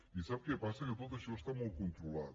i sap què passa que tot això està molt controlat